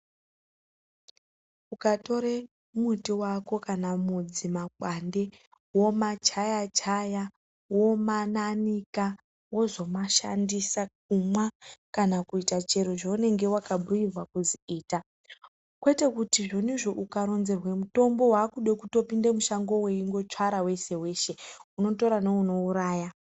Ukatore muti vako kana mudzi, makwande vomachaya-chaya vomananika vozomashandisa. Kumwa kana kuita chiro chaunenge vakabhuirwa kuzi ita. Kwete kuti zvoniizvo ukaronzerwe mutombo vakude kutopinde mushango veitora veshe-veshe unotora neunouraya.